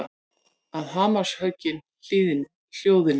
Að hamarshöggin hljóðni.